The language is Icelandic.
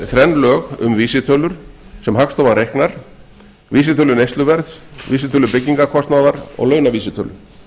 þrenn lög um vísitölur sem hagstofan reiknar vísitölu neysluverðs vísitölu byggingarkostnaðar og launavísitölu